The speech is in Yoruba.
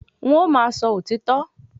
N ó máa sọ òtítọ́